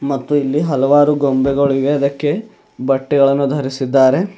ಮತ್ತು ಇಲ್ಲಿ ಹಲವರು ಗೊಂಬೆಗಳಿವೆ ಅದಕ್ಕೆ ಬಟ್ಟೆಗಳನ್ನು ಧರಿಸಿದ್ದಾರೆ.